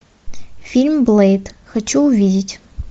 фильм блэйд хочу увидеть